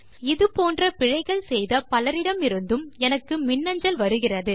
இது போன்ற பிழைகள் செய்த பலரிடமிருந்தும் எனக்கு மின்னஞ்சல் வருகிறது